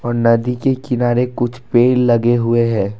और नदी के किनारे कुछ पेड़ लगे हुए हैं।